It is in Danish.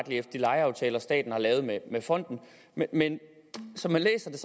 efter de lejeaftaler staten har lavet med fonden men som jeg læser det